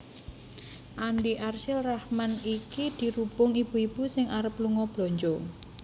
Andi Arsyil Rahman iki dirubung ibu ibu sing arep lunga belanja